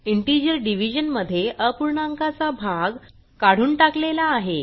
integer division मध्ये अपूर्णांकाचा भाग काढून टाकलेला आहे